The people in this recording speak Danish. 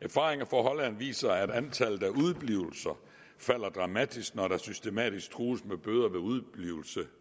erfaringer fra holland viser at antallet af udeblivelser falder dramatisk når der systematisk trues med bøder ved udeblivelse